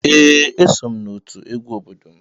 Ee, eso m n'otu egwu obodo m.